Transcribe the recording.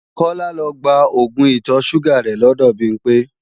Kọ́lá lọ gba oògùn ìtọ̀-ṣúgà rẹ̀ lọ́dọ̀ Bimpé